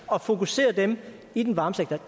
og fokusere dem i den varme sektor